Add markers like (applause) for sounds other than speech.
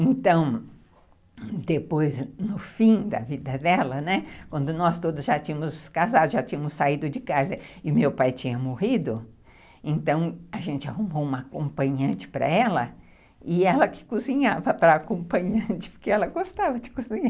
Então, depois, no fim da vida dela, né, quando nós todos já tínhamos casado, já tínhamos saído de casa e meu pai tinha morrido, então a gente arrumou uma acompanhante para ela e ela que cozinhava para a acompanhante, (laughs) porque ela gostava de cozinhar.